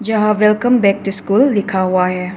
यहां welcome back to school लिखा हुआ है।